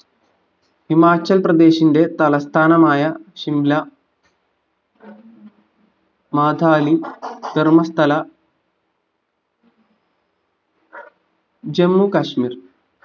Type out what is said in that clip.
ഹിമാചൽപ്രദേശിന്റെ തലസ്ഥാനമായ ഷിംല മാതാലി ധർമ്മസ്ഥല ജമ്മുകാശ്മീർ